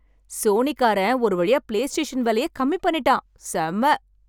Sony காரன் ஒரு வழியா பிலேஸ்டேஷன் விலையக் கம்மி பண்ணிட்டான். செம்ம.